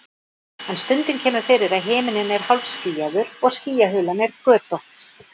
En stundum kemur fyrir að himinninn er hálfskýjaður og skýjahulan er götótt.